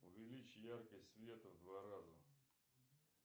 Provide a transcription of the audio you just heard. увеличь яркость света в два раза